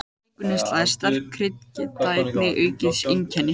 Sykurneysla og sterk krydd geta einnig aukið einkennin.